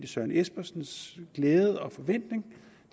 søren espersens glæde og forventning